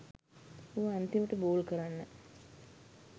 ඌ අන්තිමට බෝල් කරන්න